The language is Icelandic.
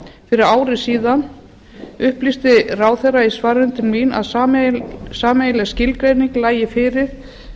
fyrir ári síðan upplýsti ráðherra í svarinu til mín að sameiginleg skilgreining lægi fyrir